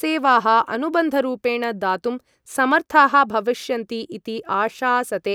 सेवाः अनुबन्धरूपेण दातुं समर्थाः भविष्यन्ति इति आशासते।